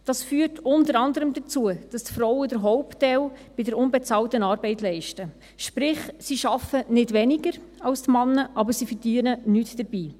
Dies führt unter anderem dazu, dass die Frauen den Hauptteil der unbezahlten Arbeit leisten, sprich: Sie arbeiten nicht weniger als die Männer, aber sie verdienen nichts dabei.